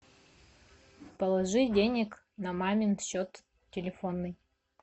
положи денег на мамин счет телефонный